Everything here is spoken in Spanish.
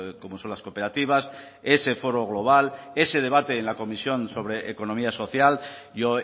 como son las cooperativas ese foro global ese debate en la comisión sobre economía social yo